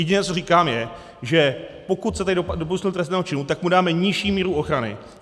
Jediné, co říkám, je, že pokud se tady dopustil trestného činu, tak mu dáme nižší míru ochrany.